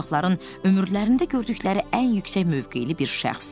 Uşaqların ömürlərində gördükləri ən yüksək mövqeli bir şəxs.